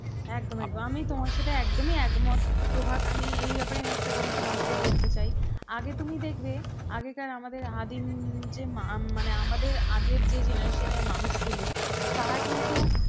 প্রভাত আমি এই ব্যাপারে একটা কথা তোমাকে বলতে চাই, আগে তুমি দেখবে আগে আমাদের আদিম যে মানে আমাদের আগের generation র মানুষগুলো। তারা কিন্তু